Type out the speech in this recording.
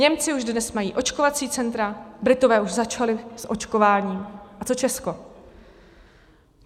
Němci už dnes mají očkovací centra, Britové už začali s očkováním, a co Česko?